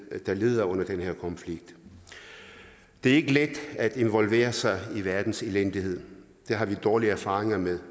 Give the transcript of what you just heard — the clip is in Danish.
der lider under den her konflikt det er ikke let at involvere sig i verdens elendighed det har vi dårlige erfaringer med